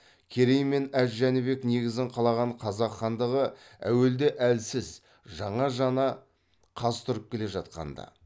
керей мен әз жәнібек негізін қалаған қазақ хандығы әуелде әлсіз жаңа жаңа қаз тұрып келе жатқанда